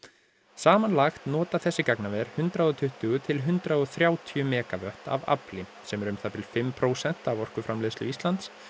samanlagt nota þessi gagnaver hundrað og tuttugu til hundrað og þrjátíu megavött af afli sem er um það bil fimm prósent af orkuframleiðslu Íslands